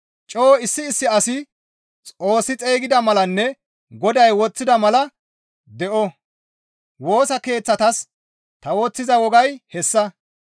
Coo issi issi asi Xoossi xeygida malanne Goday woththida mala de7o; woosa keeththatas ta woththiza wogay hessa.